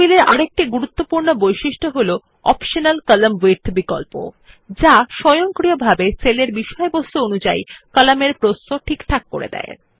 table এ আরেকটি গুরুত্বপূর্ণ বৈশিষ্ট্য হল অপ্টিমাল কলাম্ন উইডথ বিকল্প যা স্বয়ংক্রিয়ভাবে সেলের বিষয়বস্তু অনুযায়ী কলাম এর প্রস্থ ঠিকঠাক করে নেয়